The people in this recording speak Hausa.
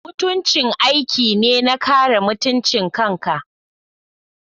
Mutunci aiki ne na kare mutuncin kanka.